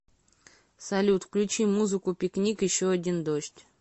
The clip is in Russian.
салют включи музыку пикник еще один дождь